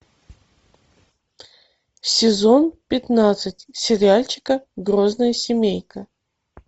сезон пятнадцать сериальчика грозная семейка